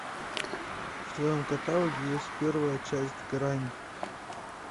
в твоем каталоге есть первая часть грань